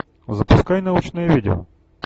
запускай научное видео